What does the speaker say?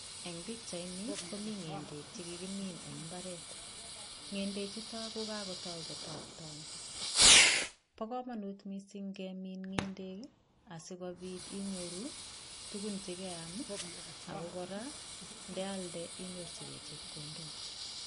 Eng' pikchaini komi ng'endek chekikimin eng' imbaret ng'endechuto ko kakotoi kotopton bo kamanut mising' kemin ng'endek asikobit inyoru tukun chekeam Ako kora ndealde inyorchinigei chepkondok